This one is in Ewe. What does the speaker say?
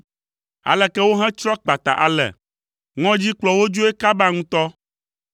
Aleke wohetsrɔ̃ kpata ale, ŋɔdzi kplɔ wo dzoe kaba ŋutɔ!